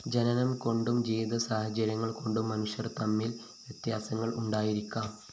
ജനനംകൊണ്ടും ജീവിതസാഹചര്യങ്ങള്‍കൊണ്ടും മനുഷ്യര്‍ തമ്മില്‍ വ്യത്യാസങ്ങള്‍ ഉണ്ടായിരിക്കാം